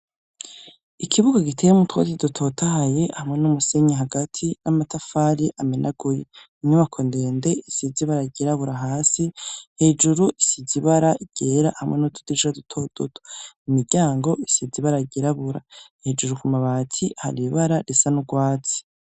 Ikibuga giteyemwo utwatsi dutotahaye hamwe n'umusenyi hagati n'amatafari amenaguye, inyubako ndende isize ibara ryirabura hasi, hejuru isize ibara ryera hamwe n'utudirisha duto duto, imiryango isize ibara ryirabura, hejuru ku mabati hari ibara risa n'urwatsi.